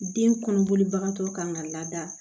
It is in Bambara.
Den kɔnɔboli bagatɔ kan ka lada